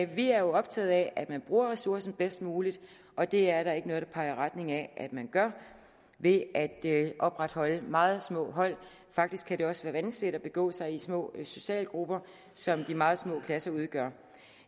vi er optaget af at man bruger ressourcerne bedst muligt og det er der ikke noget der peger i retning af at man gør ved at opretholde meget små hold faktisk kan det også være vanskeligt at begå sig i små socialgrupper som de meget små klasser udgør